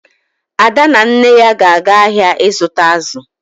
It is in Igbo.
Ada na nne ya ga-aga ahịa ịzụta azụ.